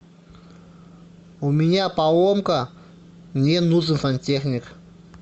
у меня поломка мне нужен сантехник